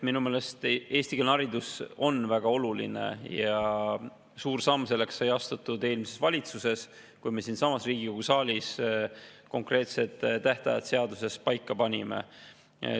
Minu meelest on eestikeelne haridus väga oluline ja suur samm selle poole sai astutud eelmises valitsuses, kui me panime siinsamas Riigikogu saalis konkreetsed tähtajad seaduses paika.